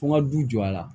Fo n ka du jɔ a la